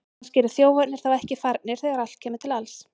Kannski eru þjófarnir þá ekki farnir þegar allt kemur til alls!